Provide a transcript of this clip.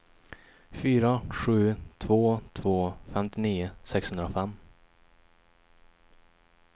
fyra sju två två femtionio sexhundrafem